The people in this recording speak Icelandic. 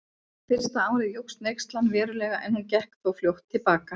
Fyrsta árið jókst neyslan verulega en hún gekk þó fljótt til baka.